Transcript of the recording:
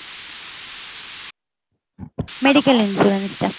medical insurance টা।